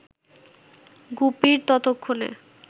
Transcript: গুপির ততক্ষণে